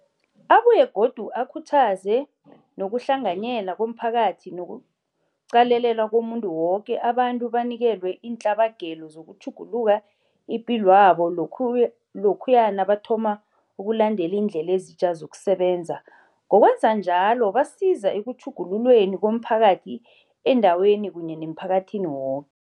Abuye godu akhuthaze nokuhlanganyela komphakathi nokuqalelelwa komuntu woke, abantu banikelwe iintlabagelo zokutjhugulula ipilwabo lokhuya nabathoma ukulandela iindlela ezitja zokusebenza. Ngokwenza njalo basiza ekutjhugululweni komphakathi endaweni kunye nemphakathini woke.